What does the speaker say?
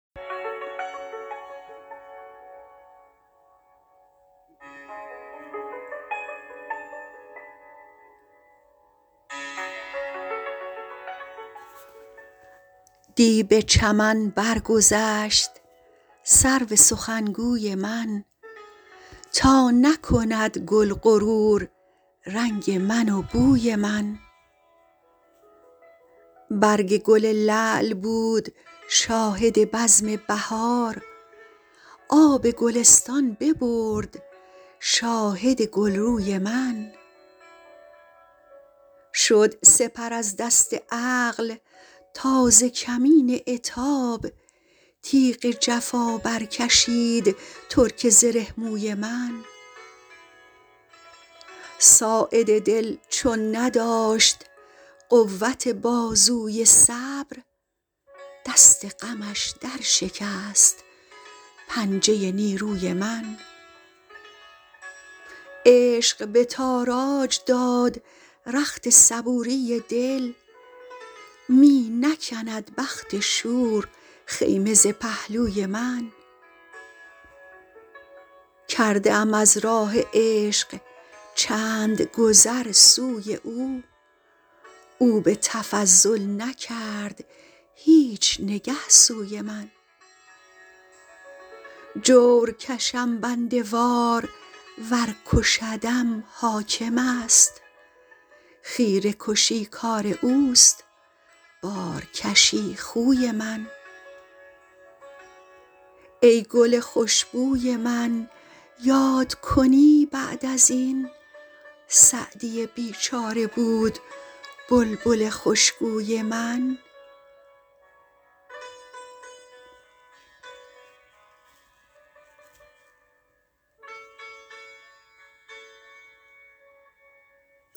دی به چمن برگذشت سرو سخنگوی من تا نکند گل غرور رنگ من و بوی من برگ گل لعل بود شاهد بزم بهار آب گلستان ببرد شاهد گلروی من شد سپر از دست عقل تا ز کمین عتاب تیغ جفا برکشید ترک زره موی من ساعد دل چون نداشت قوت بازوی صبر دست غمش درشکست پنجه نیروی من عشق به تاراج داد رخت صبوری دل می نکند بخت شور خیمه ز پهلوی من کرده ام از راه عشق چند گذر سوی او او به تفضل نکرد هیچ نگه سوی من جور کشم بنده وار ور کشدم حاکم است خیره کشی کار اوست بارکشی خوی من ای گل خوش بوی من یاد کنی بعد از این سعدی بیچاره بود بلبل خوشگوی من